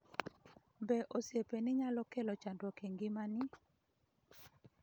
be, oseiepeni nyalo kelo chandruok e ngimani?